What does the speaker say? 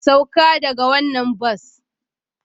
Sauka daga wannan bas!